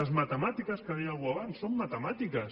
les matemàtiques que deia algú abans són matemàtiques